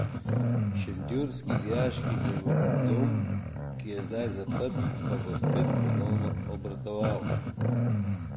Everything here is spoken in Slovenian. Šentjurski dijaški dom, ki je zdaj zaprt, pa bo spet ponovno obratoval.